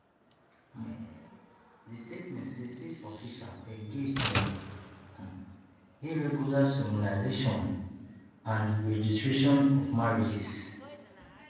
um di statement say six officials engage in um irregular solemnisation and registration of marriages